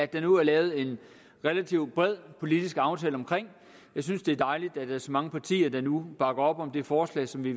der nu er lavet en relativt bred politisk aftale om jeg synes det er dejligt at der er så mange partier der nu bakker op om det forslag som vi